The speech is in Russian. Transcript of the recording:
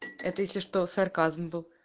это если что сарказм был